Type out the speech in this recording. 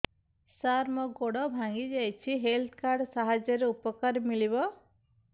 ସାର ମୋର ଗୋଡ଼ ଭାଙ୍ଗି ଯାଇଛି ହେଲ୍ଥ କାର୍ଡ ସାହାଯ୍ୟରେ ଉପକାର ମିଳିବ